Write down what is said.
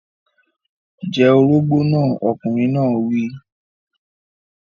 Jẹ orógbó náà! Ọkùnrin náà wí.